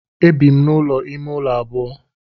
E bi m n'ụlọ ime ụlọ abụọ.